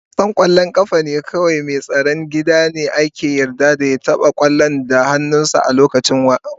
A wasan kwallon kafa kawai mai tsaron gida ne ake yarda ya taba kwallon da hannunsa a kowane lokaci.